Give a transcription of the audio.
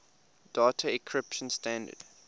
data encryption standard